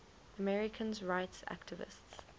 americans rights activists